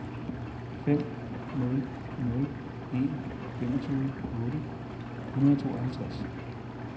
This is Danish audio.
fem nul nul en femogtyve otte hundrede og tooghalvtreds